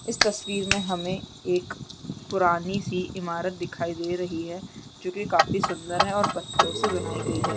इस तस्वीर में हमें एक पुरानी सी ईमारत दिखाई दे रही है जो की काफी सुन्दर है और पत्थरों से बनाई गई है ।